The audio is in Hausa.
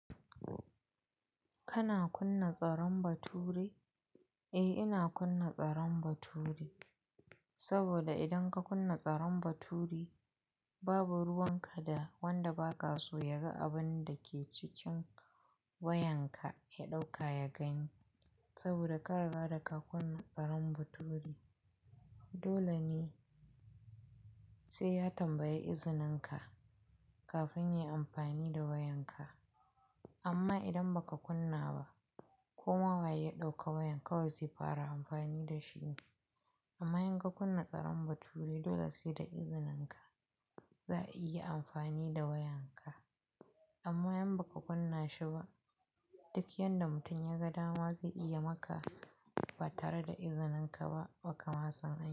Kana kunna tsaron bature? Eh ina kunna tsaron bature, saboda idan ka kunna tsaron bature babu ruwan kada wanda ba ka so ya ga abun da ke cikin wayanka ya ɗauka ya gani. Saboda kariga da ka kunna tsaron bature dole ne sai ya tambayi izininka kafin ya yi amfani da wayanka. Amma idan ba ka kunna ba koma waye ya ɗauka wayan kawai zai fara amfani da shi. Amma in ka kunna tsaron bature dole sai da izininka za a iya amfani da wayanka. Amma in ba ka kunna shi ba duk yanda mutum ya ga dama zai iya maka ba tare da izininka ba, ba ka ma saniba.